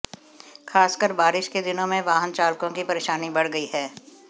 खासकर बारिश के दिनों में वाहन चालकों की परेशानी बढ़ गई है